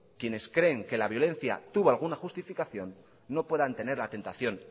quienes creen que la violencia tuvo alguna justificación no puedan tener la tentación